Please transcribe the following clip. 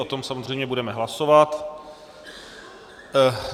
O tom samozřejmě budeme hlasovat.